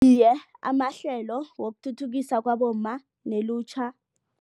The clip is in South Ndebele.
Iye, amahlelo wokuthuthukisa kwabomma nelutjha.